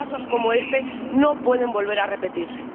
Pero casos como este no pueden volver a repetirse.